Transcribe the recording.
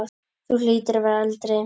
Þú hlýtur að vera eldri!